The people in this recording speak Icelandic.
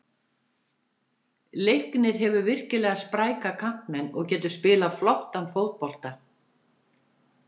Leiknir hefur virkilega spræka kantmenn og getur spilað flottan fótbolta.